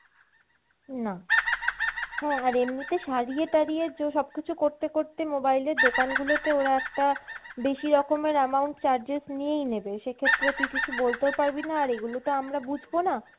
না। হ্যাঁ আর এমনিতে সারিয়ে টারিয়ে সবকিছু করতে করতে mobile এর দোকান গুলোতে ওরা একটা বেশি রকমের amount charges নিয়েই নেবে সেক্ষেত্রে তুই কিছু বলতেও পারবিনা আর এগুলো তো আমরা বুঝবো না।